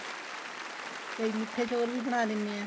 ਕਈ ਮਿੱਠੇ ਚੋਲ ਵੀ ਬਣਾ ਲੈਨੇ ਏ